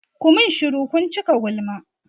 Ku min shuru! kun cika gulma.